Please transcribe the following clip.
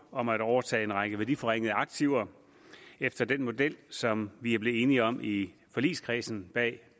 om at overtage en række værdiforringede aktiver efter den model som vi er blevet enige om i forligskredsen bag